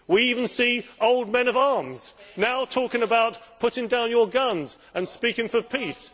We even see old men of arms now talking about putting down your guns and speaking for peace.